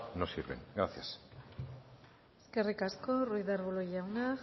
no sirven gracias eskerrik asko ruiz de arbulo jauna